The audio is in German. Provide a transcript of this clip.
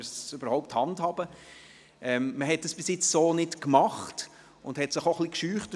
In dieser Form hatte man es bisher noch nie gemacht, weil man sich etwas davor scheute.